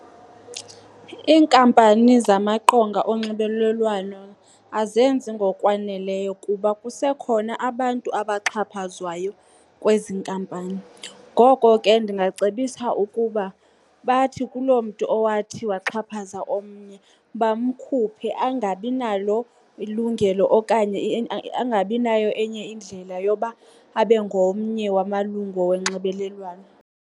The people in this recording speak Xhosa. Iinkampani zamaqonga onxibelelwano azenzi ngokwaneleyo kuba kusekhona abantu abaxhaphazwayo kwezi nkampani. Ngoko ke ndingacebisa ukuba bathi kuloo mntu owathi waxhaphaza omnye bamkhuphe angabi nalo ilungelo okanye angabi nayo enye indlela yoba abe ngomnye wamalungu wonxibelelwano.